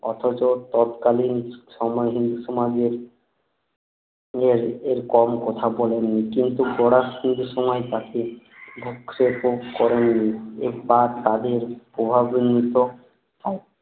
অথচ তৎকালীন শ্রমহীন সমাজের হয়ে এর কম কথা বলেননি কিন্তু ফরাসিদের সময়ে তাকে করেননি এই পাপ তাদের প্রভাবিত হয়